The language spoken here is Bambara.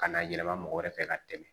Ka na yɛlɛma mɔgɔ wɛrɛ fɛ ka tɛmɛ